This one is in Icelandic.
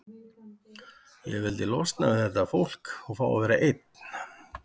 Ég vildi losna við þetta fólk og fá að vera ein.